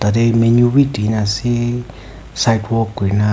te menu bi dee na ase sidewok kui na.